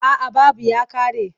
A'a babu ya ƙare.